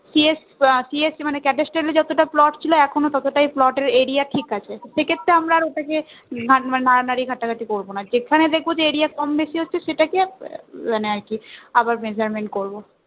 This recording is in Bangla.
CSCS মানে এর যতটা plot ছিল ততটাই plot এর area ঠিক আছে সেক্ষেত্রে আমরা আর ওটাকে নাড়ানাড়ি ঘাটাঘাটি করবো না যেখানে দেখবো যে area কম বেশি হচ্ছে সেটা কে মানে আবার আর কি measurement করবো